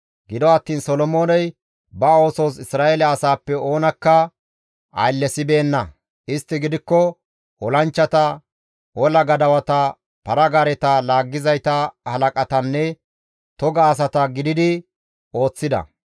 Gido attiin Solomooney ba oosos Isra7eele asaappe oonakka ayllesibeenna; istti gidikko olanchchata, ola gadawata, para-gaareta laaggizayta halaqatanne toga asata gididi ooththida.